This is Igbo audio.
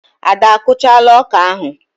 Ada a kụchaala ọkà ahụ.